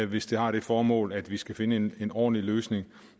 hvis det har det formål at vi skal finde en ordentlig løsning